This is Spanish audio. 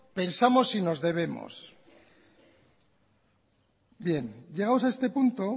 pensamos y nos debemos bien llegados a este punto